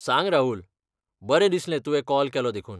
सांग, राहुल! बरें दिसलें तुवें कॉल केलो देखून.